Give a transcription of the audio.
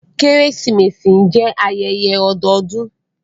Keresimesi jẹ ayẹyẹ ọdọọdun.